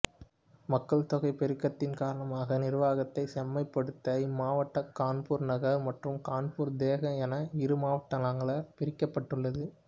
மக்கள்தொகை பெருக்கத்தின் காரணமாக நிர்வாகத்தை செம்மைப்படுத்த இம்மாவட்டம் கான்பூர் நகர் மற்றும் கான்பூர் தேகத் என இரு மாவட்டங்களாக பிரிக்கப்பட்டுள்ளது